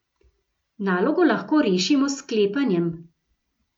Nalogo lahko rešimo s sklepanjem.